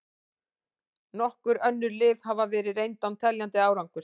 Nokkur önnur lyf hafa verið reynd án teljandi árangurs.